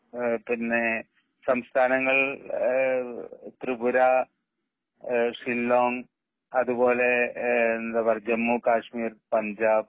അഹ് പിന്നെ സംസ്ഥാനങ്ങളിൽ ത്രിപുര, ഏഹ് ഷില്ലോങ്, അതുപോലെ എന്താ പറയുക ജമ്മുകാശ്മീർ, പഞ്ചാപ്